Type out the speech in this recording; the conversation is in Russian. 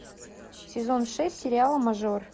сезон шесть сериала мажор